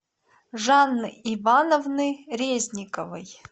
жанны ивановны резниковой